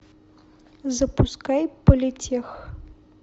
запускай политех